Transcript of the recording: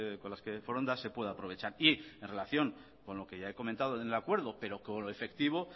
con las que foronda se pueda aprovechar y en relación con lo que ya he comentado en el acuerdo pero como efectivo